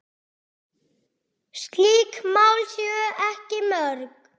Slík mál séu ekki mörg.